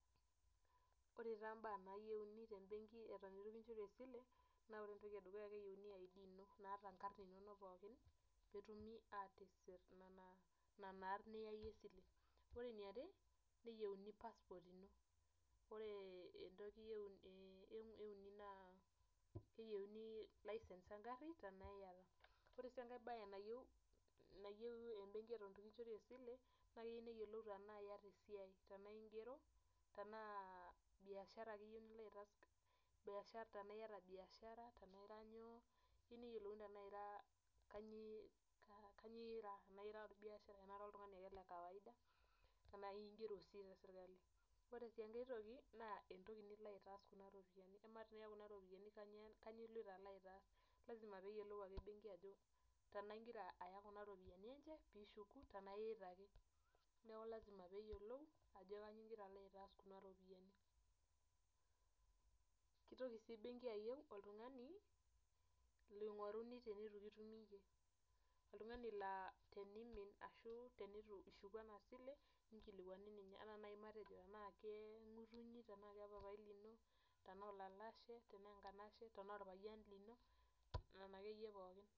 ore taa imbaa nayieuni te mbenkii eton itu kinchori sile naa ore entoki ee ndukuya naa keyieuni ID ino naata inkarn inonok pookin peetumi aatisir nena arn niyaiye esile ore eniare neyieuni passport ino ore entoki euni naa keyieuni license ee ngarri tenaa iyata ore sii enkae baye nayieu embenkii eton itu kinchori esile naa keyieu neyiolou tenaa iyata esia tenaa ingero tenaa biashara ake iye nilo aitaas tena iyata biashara tenaa ira nyoo ashu eyiolouni tenaa ira kanyioo ira tenaa ira olbiasharai tena ira oltung'ani ake iye le kawaida enaa ingero sii te sirkali ore sii enkae toki naa entoki nilo aitass kuna rropiyiani kamaa tii kuna rropiyiani kanyioo iloito alo aitaas lasima pee eyiolou ake embenkii ajo tenaa ingira aya kuna rropiyiani enye piishuku tenaa iita ake neeku lasima peeyiolou ajo kanyioo iloito aitaas kuna rropiyiani keitoki sii embrnkii ayieu oltung'ani loing'oruni teneito kitumi iye oltung'ani laa teniimin ashuu tenitu ishuku ena sile neikilikuani ninye enaa nayii matejo tenaa keng'utunyi tenaa kepapai lino tenaa olalashe tenaa enkanashe tenaa orpayian lino nena ake iye pookin.